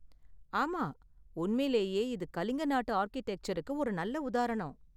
ஆமாம், உண்மையிலேயே இது கலிங்க நாட்டு ஆர்க்கிடெக்சருக்கு ஒரு நல்ல உதாரணம்.